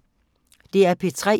DR P3